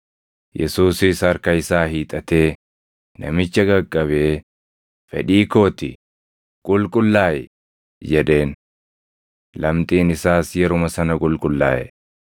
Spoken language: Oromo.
Yesuusis harka isaa hiixatee namicha qaqqabee, “Fedhii koo ti; qulqullaaʼi!” jedheen. Lamxiin isaas yeruma sana qulqullaaʼe.